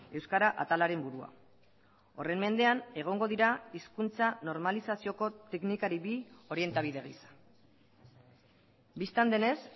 euskara atalaren burua horren mendean egongo dira hizkuntza normalizazioko teknikari bi orientabide gisa bistan denez